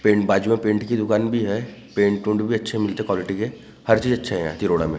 Paint बाजू में paint की दुकान भी हैं पेंट वेंट भी अच्छे मिलती हैं क्वालिटी के हर चीज़ अच्छी मिलती हैं यहाँ कि रोड़ा में।